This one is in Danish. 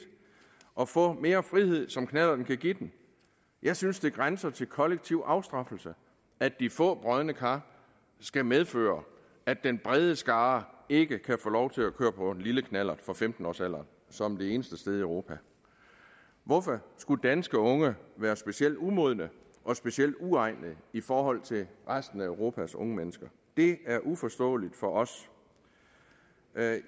og få mere frihed som knallerten kan give dem jeg synes det grænser til kollektiv afstraffelse at de få brodne kar skal medføre at den brede skare ikke kan få lov til at køre på en lille knallert fra femten årsalderen som det eneste sted i europa hvorfor skulle danske unge være specielt umodne og specielt uegnede i forhold til resten af europas unge mennesker det er uforståeligt for os